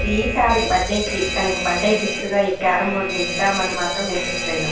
ఈసారి బర్త్డే కి తనకు బర్త్డే గిఫ్ట్ గా ఈ క్యారం బోర్డు ని ఇద్దా అని మాత్రం మేము ఫిక్స్ అయినాము.